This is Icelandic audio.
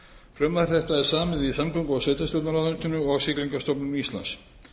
frumvarp þetta er samið í samgöngu og sveitarstjórnarráðuneytinu og siglingastofnun íslands